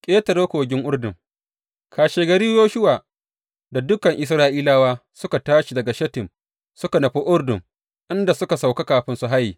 Ƙetare kogin Urdun Kashegari Yoshuwa da dukan Isra’ilawa suka tashi daga Shittim suka nufi Urdun inda suka sauka kafin su haye.